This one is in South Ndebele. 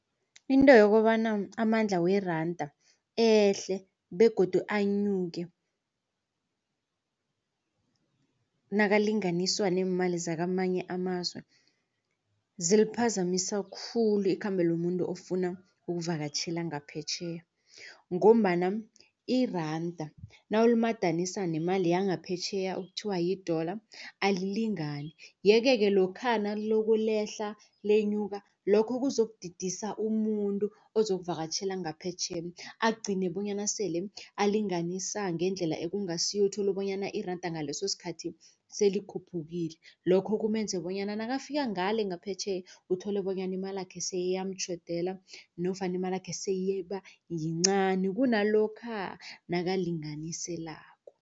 Into yokobana amandla weranda ehle begodu anyuke nakalinganiswa neemali zakamanye amazwe ziliphazamisa khulu ikhambo lomuntu ofuna ukuvakatjhela ngaphetjheya. Ngombana iranda nawulimadanisa nemali yangaphetjheya okuthiwa yi-idollar alilingani. Yeke-ke lokha nalokhulehla lenyuka lokho kuzokudidisa umuntu ozokuvakatjhela ngaphetjheya agcine bonyana sele alinganisa ngendlela ekungasiyo uthola bonyana iranda ngaleso sikhathi selikhuphukile. Lokho kumenze bonyana nakafika ngale ngaphetjheya uthole bonyana imalakhe seyiyamtjhodela nofana imalakhe seyibayincani kunalokha nakulinganiselako.